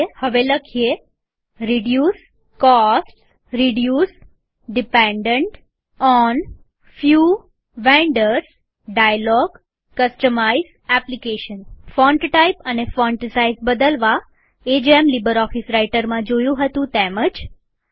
રદ થયું હવે લખીએ reduce costs reduce dependent on few vendors dialog customise application font type અને ફોન્ટ સાઈઝ બદલવા એ જેમ લીબરઓફીસ રાઈટરમાં જોયું હતું તેવું જ છે